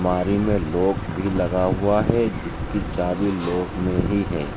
अलमारी में लॉक भी लगा हुआ है जिसकी चाभी लॉक में ही है।